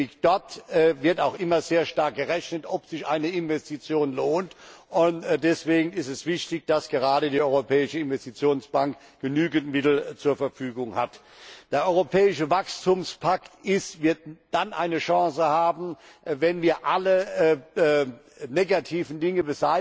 Dort wird nämlich auch immer sehr stark gerechnet, ob sich eine Investition lohnt, und deswegen ist es wichtig, dass gerade die Europäische Investitionsbank genügend Mittel zur Verfügung hat. Der Europäische Wachstumspakt wird dann eine Chance haben, wenn wir alle negativen Dinge